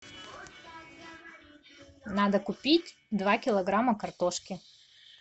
надо купить два килограмма картошки